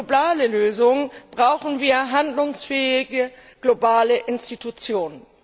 Und für globale Lösungen brauchen wir handlungsfähige globale Institutionen.